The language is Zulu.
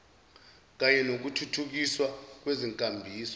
kanye nokuthuthukiswa kwezinkambiso